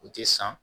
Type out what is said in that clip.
U tɛ san